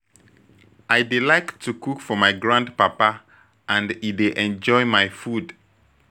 I dey like to cook for my grand papa and e dey enjoy my food